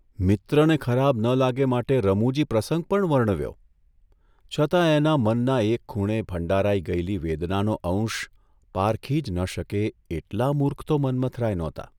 મિત્રને ખરાબ ન લાગે માટે રમૂજી પ્રસંગ પણ વર્ણવ્યો, છતાં એના મનના એક ખૂણે ભંડારાઇ ગયેલી વેદનાનો અંશ પારખી જ ન શકે એટલા મૂર્ખ તો મન્મથરાય નહોતા !